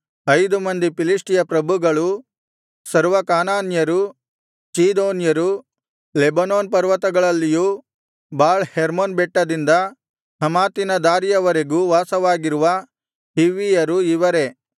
ಐದು ಮಂದಿ ಫಿಲಿಷ್ಟಿಯ ಪ್ರಭುಗಳು ಸರ್ವ ಕಾನಾನ್ಯರು ಚೀದೋನ್ಯರು ಲೆಬನೋನ್ ಪರ್ವತಗಳಲ್ಲಿಯೂ ಬಾಳ್ ಹೆರ್ಮೊನ್ ಬೆಟ್ಟದಿಂದ ಹಮಾತಿನ ದಾರಿಯವರೆಗೆ ವಾಸವಾಗಿರುವ ಹಿವ್ವಿಯರು ಇವರೇ